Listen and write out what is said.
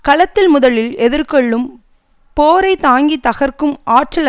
களத்தில் முதலில் எதிர்கொள்ளும் போரை தாங்கி தகர்க்கும் ஆற்றலை